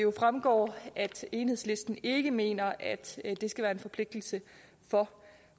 fremgår at enhedslisten ikke mener at det skal være en forpligtelse for